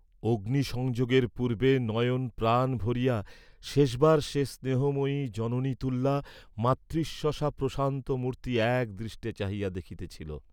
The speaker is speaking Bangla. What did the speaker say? অগ্নি সংযোগের পূর্ব্বে নয়ন প্রাণ ভরিয়া শেষবার সে স্নেহময়ী জননীতুল্যা মাতৃশ্বসার প্রশান্ত মূর্ত্তি এক দৃষ্টে চাহিয়া দেখিতেছিল।